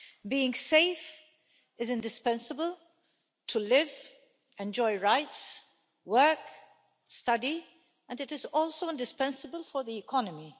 Being safe is indispensable to live, enjoy rights, work, study and it is also indispensable for the economy.